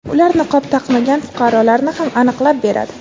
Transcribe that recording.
ular niqob taqmagan fuqarolarni ham aniqlab beradi.